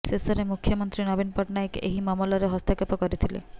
ଶେଷରେ ମୁଖ୍ୟମନ୍ତ୍ରୀ ନବୀନ ପଟ୍ଟନାୟକ ଏହି ମାମଲାରେ ହସ୍ତକ୍ଷେପ କରିଥିଲେ